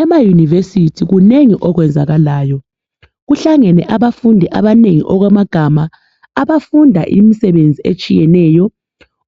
Emayunivesithi kunengi okwenzakalayo kuhlangene abafundi abanengi okwamagama abafunda imisebenzi etshiyeneyo